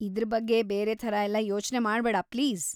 ಇದ್ರ ಬಗ್ಗೆ ಬೇರೆ ಥರ ಎಲ್ಲ ಯೋಚ್ನೆ ಮಾಡ್ಬೇಡಾ ಪ್ಲೀಸ್.